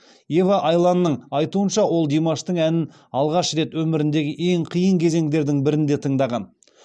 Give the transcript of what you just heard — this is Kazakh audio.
ева айланның айтуынша ол димаштың әнін алғаш рет өміріндегі ең қиын кезеңдердің бірінде тыңдаған